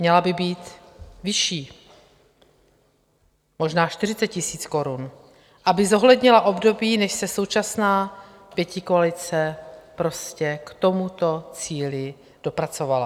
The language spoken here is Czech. Měla by být vyšší, možná 40 000 korun, aby zohlednila období, než se současná pětikoalice prostě k tomuto cíli dopracovala.